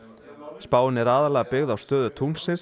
spáin er aðallega byggð á stöðu